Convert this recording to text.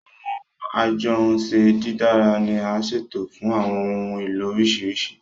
Awọn ajohunše didara ni a ṣetọju fun awọn ohun elo oriṣiriṣi